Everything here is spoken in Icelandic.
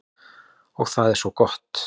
Og það er svo gott.